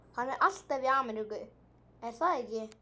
Hann er alltaf í Ameríku, er það ekki?